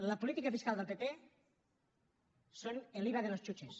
la política fiscal del pp és el iva de los chuches